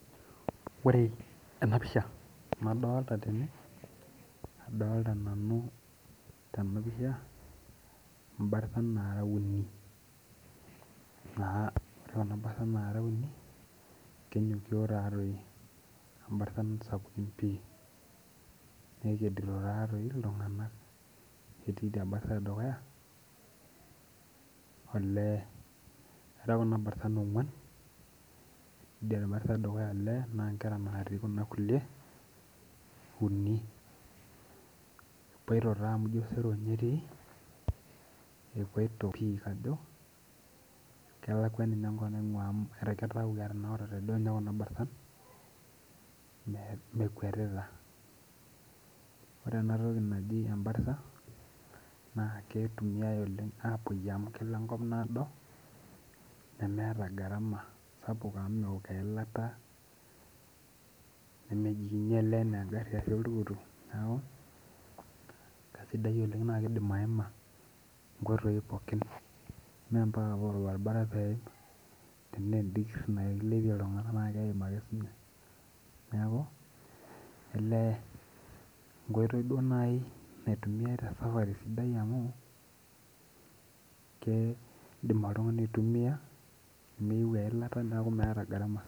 Ore ena pisha nadolita tene adolita nanu tena pisha ibartan nara uni. Naa ore kuna bartan nara uni kenyokie taadoi, bartan sapukin pii nekedito taadoi iltung'ana. Neeti ebarta ee dukuya ole era kuna bartan ong'uan. Ore ebarta edukuya naa ole naa ikera nadii kuna kulie uni. Epoito naa amu ijo osero ninye etii epoito pii kajo kelakuo enkop ning'ua amu ijo kitau etanaurate ninche kuna bartan mekwetita. Ore ena toki naji ebarta naa ketumiai oleng' apuyie amu kepuo enkop naado neemeta gharama sapuk amu meok eilata nemeji inyale enaa egari ashu oltukutuk neeku kesididai oleng na keidim aima nkoitoi pookin. Mee mpaka paa orbaribara peim tena edikir na kilipie iltung'ana keim ake sii ninye. Neeku ole enkoitoi duo naitumia te safari amuu keidim oltung'ani autumia miuu eilata neeku miata gharama.